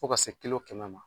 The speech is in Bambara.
Fɔ ka se kilo kɛmɛ ma.